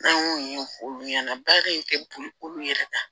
N'an y'o ɲɛfɔ olu ɲɛna baara in tɛ boli olu yɛrɛ kan